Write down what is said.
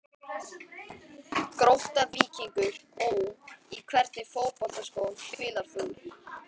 Grótta-Víkingur Ó Í hvernig fótboltaskóm spilar þú?